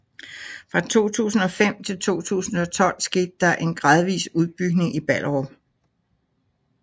Fra 2005 til 2012 skete der en gradvis udbygning i Ballerup